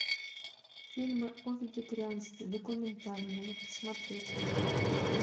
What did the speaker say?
фильмы о вегетарианстве документальные смотреть